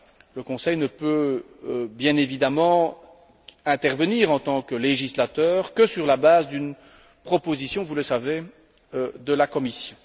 Le Conseil ne peut, bien évidemment, intervenir en tant que législateur que sur la base d'une proposition, vous le savez, de la Commission.